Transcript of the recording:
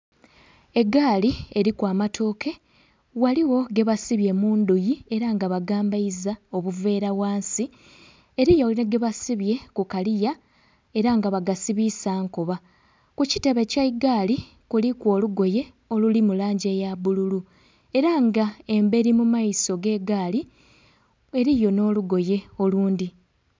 Egaali eliku amatooke, ghaligho gebasibye mu ndhuyi era nga bagambaiza obuveera ghansi, eliyo nhi gebasibye ku kaliya era nga bagasibiisa nkoba. Ku kitebe eky'egaali kuliku olugoye oluli mu langi eya bbululu, era nga emberi mu maiso g'egaali eliyo nh'olugoye olundhi.